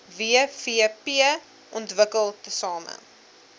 wvp ontwikkel tesame